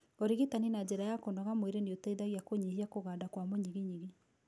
ũrigitani na njĩra ya kũnoga mwĩrĩ nĩũteithagia kũnyihia kũganda kwa mũnyiginyigi